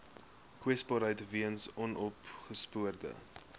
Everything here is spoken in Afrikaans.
kwesbaarheid weens onopgespoorde